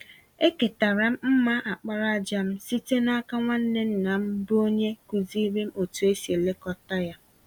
Eketara m mma àkpàràjà m site n'aka nwanne nna m bụ́ onye kụziiri m otú e si elekọta ya.